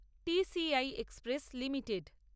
T. C. I express limited